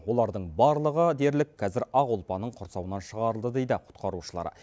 олардың барлығы дерлік қазір ақ ұлпаның құрсауынан шығарылды дейді құтқарушылар